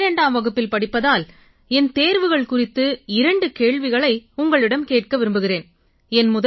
நான் 12ஆம் வகுப்பில் படிப்பதால் என் தேர்வுகள் குறித்து இரண்டு கேள்விகளை உங்களிடம் கேட்க விரும்புகிறேன்